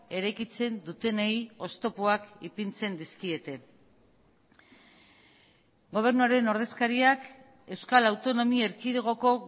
eraikitzen dutenei oztopoak ipintzen dizkiete gobernuaren ordezkariak euskal autonomia erkidegoko